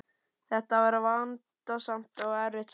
Þetta var vandasamt og erfitt starf.